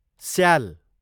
स्याल